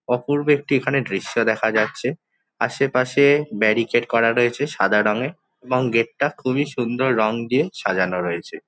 অপূর্ব একটি এখানে দৃশ্য দেখা যাচ্ছে। আশেপাশে ব্যারিকেড করা রয়েছে সাদা রঙে এবং গেট টা খুবই সুন্দর রং দিয়ে সাজানো রয়েছে।